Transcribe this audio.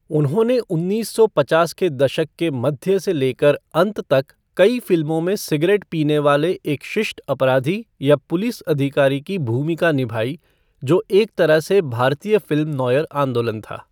उन्होंने उन्नीस सौ पचास के दशक के मध्य से लेकर अंत तक कई फ़िल्मों में सिगरेट पीने वाले एक शिष्ट अपराधी या पुलिस अधिकारी की भूमिका निभाई, जो एक तरह से भारतीय फ़िल्म नोयर आंदोलन था।